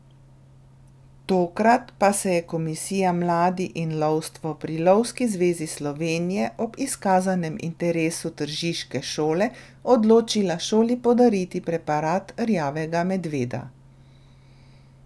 Tokrat pa se je komisija mladi in lovstvo pri Lovski zvezi Slovenije ob izkazanem interesu tržiške šole odločila šoli podariti preparat rjavega medveda.